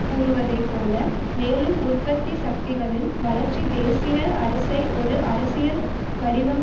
கூறுவதைப்போல மேலும் உற்பத்தி சக்திகளின் வளர்ச்சி தேசிய அரசை ஒரு அரசியல் வடிவம்